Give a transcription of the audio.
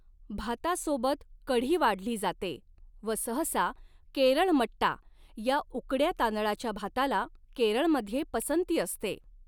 भातासोबत कढी वाढली जाते व सहसा 'केरळ मट्टा' या उकड्या तांदळाच्या भाताला केरळमध्ये पसंती असते.